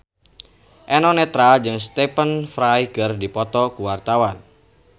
Eno Netral jeung Stephen Fry keur dipoto ku wartawan